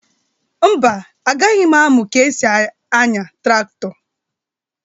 Mba, agaghị m amụ ka e si anya traktọ.